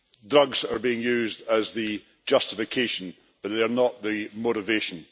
Drugs are being used as the justification, but they are not the motivation.